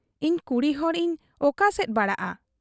ᱤᱧ ᱠᱩᱲᱤᱦᱚᱲ ᱤᱧ ᱚᱠᱟᱥᱮᱫ ᱵᱟᱲᱟᱜ ᱟ ᱾